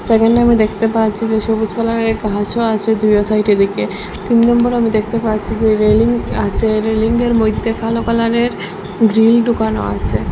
সেকেন্ডে আমি দেখতে পাচ্ছি যে সবুজ কালারের ঘাস ও আচে দুইও সাইডে দিকে তিন নম্বরে আমি দেখতে পাচ্ছি যে রেলিং আসে রেলিংয়ের মইধ্যে কালো কালারের গ্রিল ডুকানো আসে।